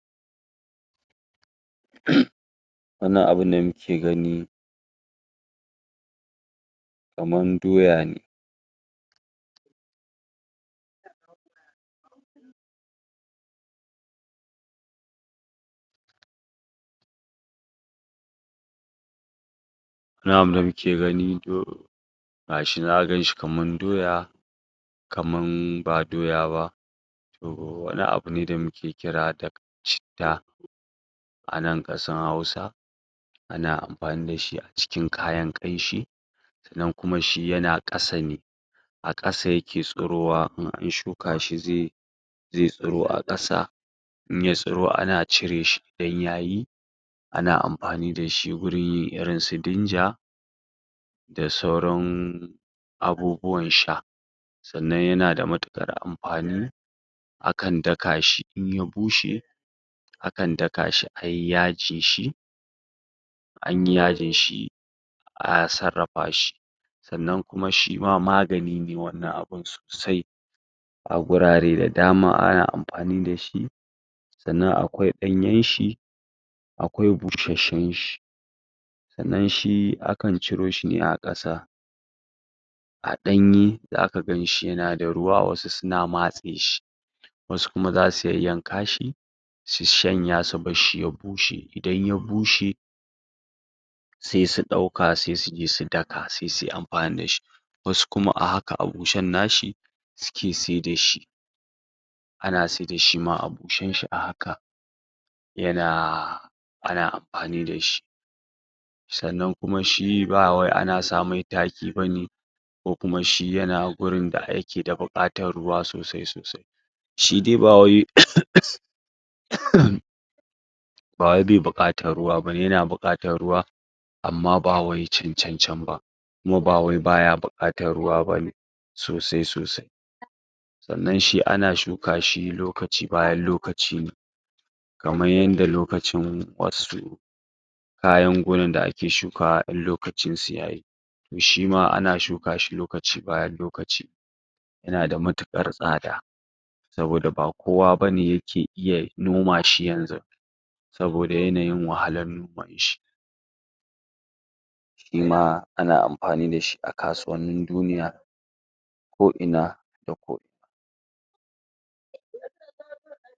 umm Wannan abun da muke gani Kaman doya ne Da muke gani Gashi na ganshi kaman doya Kaman ba doya ba umm wani abune da muke kira da citta A nan kasar hausa Ana amfani dashi Cikin kayan ƙanshi Sannan kuma shi yana ƙasan A ƙasa yake tsurowa In an shukashi zai, Zai tsuro a ƙasa Idan ya tsuro ana cireshi Idan yayi Ana amfani dashi warin yin irin su jinja Da sauran... Abubuwan sha Sannan yana da matukar amfani Akan dakashi! Idan ya bushe Akan dakashi aiyi yajin shi! Anyi yajin shi A sarrafa shi Sannan kuma shima magani ne wannan abun sosai A wurare da dama ana amfani dashi Sannan akwai ɗanyenshi Akwai busashe Sannan shi, akan ciro shine a ƙasa A ɗanye Da aka ganshi yana da ruwa wasu suna matse shi Wau kuma zasu yayyanka shi Su shanya subarshi ya bushe Idan ya bushe Sai su dauka sai suje su daka sai suyi amfani dashi Wasu kuma a haka a bushen nashi Suke saida shi Ana saida shima a bushen shi a haka Yana....... Ana amfani dashi Sannan shi bawai ana samai taki bane Ko kuma shi yana wurinda ake da bukatar ruwa sosai sosai ba Shidai bawai Umm Bawai bai bukatar ruwa bane yana bukatar ruwa Amma bawa cancancan ba Kuma bawai baya bukatar ruwa bane sosai sosai Sannan shi ana shuka shi lokaci bayan lokaci ne Kamar yadda lokacin wasu.... Kayan gonan da ake shukawa en lokacin su yayi toh shima ana shuka shi lokaci bayan lokaci Yana da matukar tsada Saboda ba kowa bane yake Iya noma shi yanzun Saboda yanayin wahalar nomanshi Kuma Ana amfani dashi a kasuwannin duniya Ko ina Da ko ina